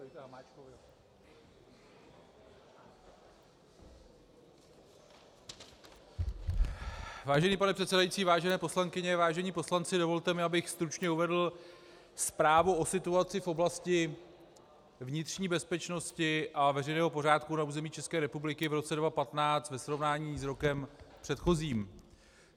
Vážený pane předsedající, vážené poslankyně, vážení poslanci, dovolte mi, abych stručně uvedl Zprávu o situaci v oblasti vnitřní bezpečnosti a veřejného pořádku na území České republiky v roce 2015 ve srovnání s rokem předchozím.